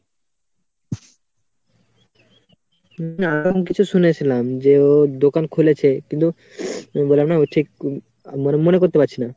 হ্যা ওরকম কিছু শুনেছিলাম যে ও দোকান খুলেছে কিন্তু বললাম না ও ঠিক মনে~ মনে করতে পারছি না.